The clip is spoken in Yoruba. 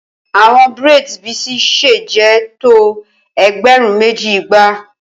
Awọn braids Bisi ṣe jẹ to ẹgbẹrun meji igba